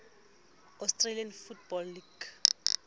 australian football league